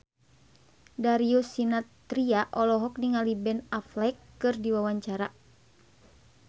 Darius Sinathrya olohok ningali Ben Affleck keur diwawancara